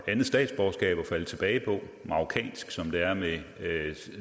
andet statsborgerskab at falde tilbage på marokkansk som det er med